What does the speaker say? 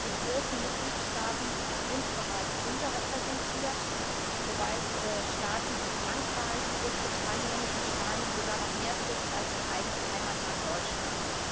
Die großen Mitgliedstaaten sind bereits unterrepräsentiert, wobei es Staaten wie Frankreich, Großbritannien und Spanien sogar noch mehr trifft als mein eigenes Heimatland Deutschland.